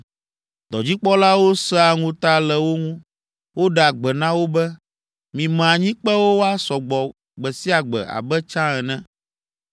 Dɔdzikpɔlawo sẽa ŋuta le wo ŋu, woɖea gbe na wo be, “Mime anyikpewo woasɔ gbɔ gbe sia gbe abe tsã ene.”